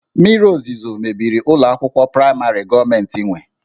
Mmiri ozuzo mebiri ụlọ akwụkwọ praịmarị gọọmentị nwe